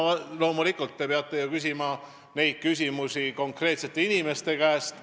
Loomulikult peate küsima neid küsimusi konkreetsete inimeste käest.